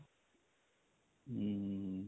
ਹਮ